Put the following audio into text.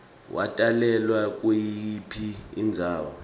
watalelwa kuyiphi indzawo